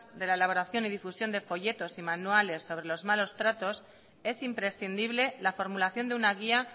de la elaboración y difusión de folletos y manuales sobre los malos tratos es imprescindible la formulación de una guía